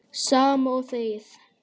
Sama og þegið!